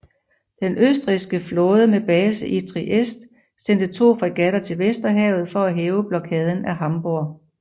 Den østrigske flåde med base i Trieste sendte to fregatter til Vesterhavet for at hæve blokaden af Hamburg